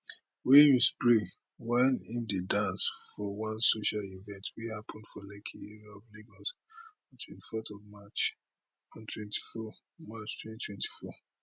wey im spray while im dey dance for one social event wey happun for lekki area of lagos on twenty fourth march twenty twenty four